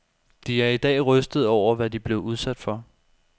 De er i dag rystede over, hvad de blev udsat for.